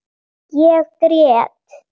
Ég grét.